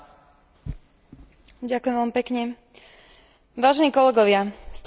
Stovky mŕtvych a tisíce zranených ľudí sú výsledkom situácie v Kirgizstane.